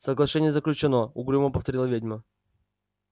соглашение заключено угрюмо повторила ведьма